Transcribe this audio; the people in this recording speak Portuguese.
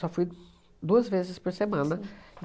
Só fui duas vezes por semana.